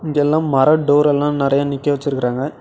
இங்கெல்லா மரோ டோர் எல்லா நெறைய நிக்க வெச்சுருக்காங்க.